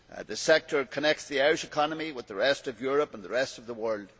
The sector connects the Irish economy with the rest of Europe and the rest of the world.